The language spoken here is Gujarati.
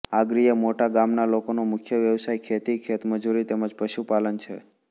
આગરીયા મોટા ગામના લોકોનો મુખ્ય વ્યવસાય ખેતી ખેતમજૂરી તેમ જ પશુપાલન છે